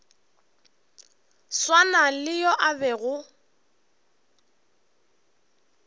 swana le yo a bego